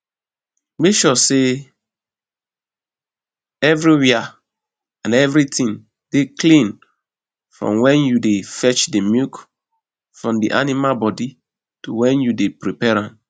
make sure sey evriwia an evritin dey clean from wen yu dey fetch di milk from di animal bodi to wen yu dey prepare am